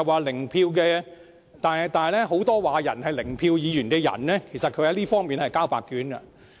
然而，很多說別人是"零票議員"的議員，在這方面是交白卷的。